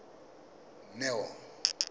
neo